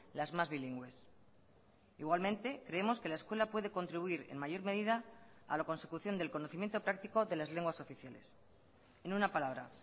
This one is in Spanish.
las más bilingües igualmente creemos que la escuela puede contribuir en mayor medida a la consecución del conocimiento práctico de las lenguas oficiales en una palabra